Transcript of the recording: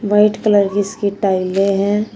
White colour की इसकी टाइले हैं।